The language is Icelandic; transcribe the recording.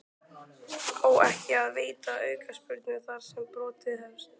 Á ekki að veita aukaspyrnu þar sem brotið hefst?